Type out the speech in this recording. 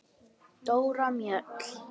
Dóra Mjöll.